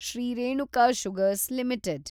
Shri Renuka sugars limited